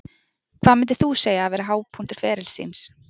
Hvað myndir þú segja að hafi verið hápunktur ferils þíns?